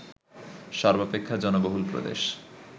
সর্বাপেক্ষা জনবহুল প্রদেশ